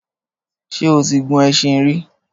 Ṣé o ti gun ẹṣin rí?